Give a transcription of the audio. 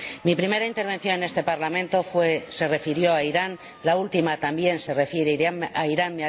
Mi primera intervención en este Parlamento se refirió a Irán, la última también se refiere a Irán.